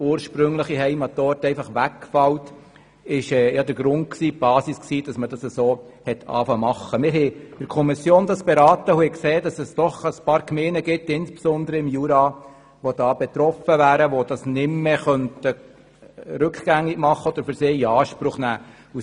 Wir haben diesen Antrag in der Kommission beraten und haben festgestellt, dass es insbesondere im Berner Jura doch ein paar Gemeinden gibt, die betroffen wären und es nicht mehr rückgängig machen beziehungsweise in Anspruch nehmen könnten.